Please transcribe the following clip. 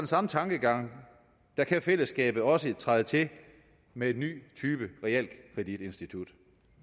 samme tankegang kan fællesskabet også træde til med en ny type realkreditinstitut